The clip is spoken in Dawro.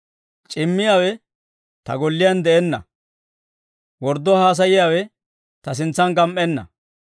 C'immiyaawe ta golliyaan de'enna; wordduwaa haasayiyaawe ta sintsan gam"enna.